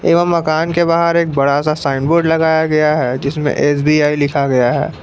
एवं मकान के बाहर एक बड़ा सा साइन बोर्ड लगाया गया है जिसमें एस_बी_आई लिखा गया है।